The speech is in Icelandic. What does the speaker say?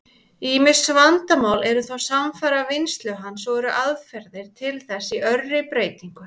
Ýmis vandamál eru þó samfara vinnslu hans, og eru aðferðir til þess í örri breytingu.